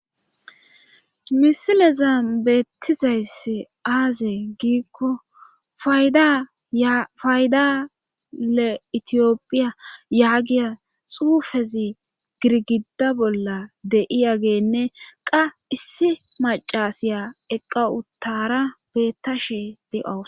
Misilezan beettizayssi aaze giikko faydale itiyophiya yaagiya xuufezi girgida bolla de7iyageenne qa issi macasiya eqqa uttara beettashe de7awa.